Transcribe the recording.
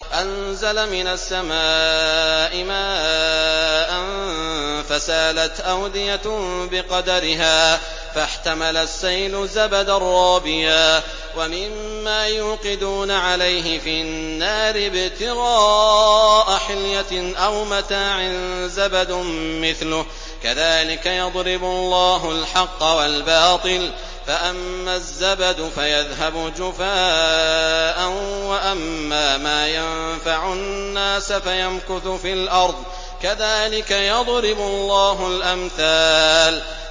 أَنزَلَ مِنَ السَّمَاءِ مَاءً فَسَالَتْ أَوْدِيَةٌ بِقَدَرِهَا فَاحْتَمَلَ السَّيْلُ زَبَدًا رَّابِيًا ۚ وَمِمَّا يُوقِدُونَ عَلَيْهِ فِي النَّارِ ابْتِغَاءَ حِلْيَةٍ أَوْ مَتَاعٍ زَبَدٌ مِّثْلُهُ ۚ كَذَٰلِكَ يَضْرِبُ اللَّهُ الْحَقَّ وَالْبَاطِلَ ۚ فَأَمَّا الزَّبَدُ فَيَذْهَبُ جُفَاءً ۖ وَأَمَّا مَا يَنفَعُ النَّاسَ فَيَمْكُثُ فِي الْأَرْضِ ۚ كَذَٰلِكَ يَضْرِبُ اللَّهُ الْأَمْثَالَ